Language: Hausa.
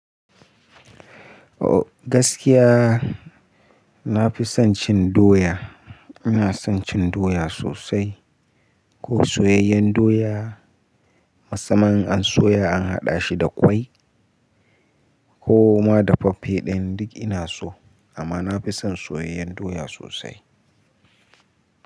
O gaskiya nafi son cin doya. Ina son cin doya sosai ko soyayyen doya, musamman an soya an haɗa shi da ƙwai ko ma dafaffe ɗin duk ina so amma nafi son soyayyen doya sosai.